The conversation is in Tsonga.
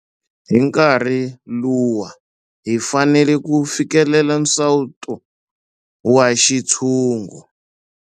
Hi nkarhi luwa hi fanele ku fikelela nsawuto wa xintshungu.